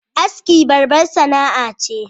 Aski babbar sana'a ce